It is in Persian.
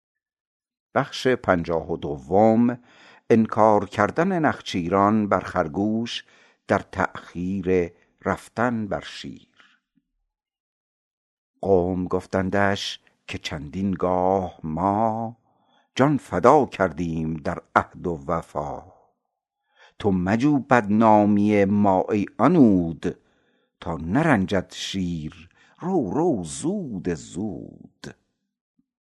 قوم گفتندش که چندین گاه ما جان فدا کردیم در عهد و وفا تو مجو بدنامی ما ای عنود تا نرنجد شیر رو رو زود زود